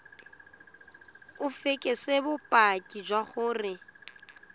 o fekese bopaki jwa gore